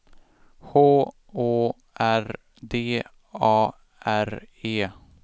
H Å R D A R E